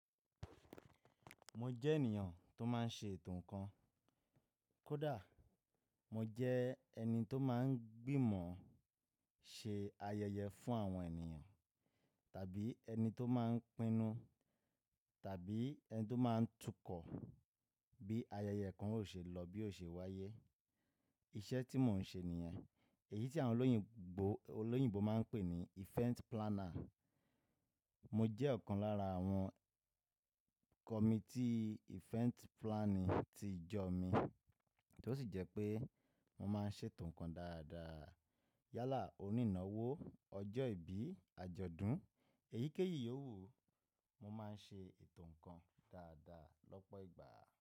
Mo jẹ́ ènìyàn tó máa ń ṣe ètò ńkan. Kódà mo jẹ́ ẹni tó máa ń gbìmọ̀ ṣe ayẹyẹ fún àwọn ènìyàn, tàbí ẹni tó máa ń pinu, tàbí ẹni tó máa ń tukọ̀ bí ayẹyẹ kan ó ṣe lọ, bí ó ṣe wáyé. Iṣẹ́ tí mò ń ṣe nìyẹn, èyí tí àwọn olóyìn-gbò, olóyìnbó máa ń pè ní event planner. Mo jẹ́ ọ̀kan lára àwọn kọmití event planning ti ìjọ mi, tí ó sì jẹ́ pé mo máa ń ṣe ètò ńkan dáadáa. Yálà onínáwó, ọjọ́ ìbí, àjọ̀dún, èyíkéyìí owú, mo máa ń ṣe ètò ńkan dáadáa lọ́pọ̀ ìgbà.